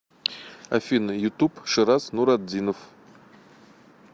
афина ютуб шыраз нуратдинов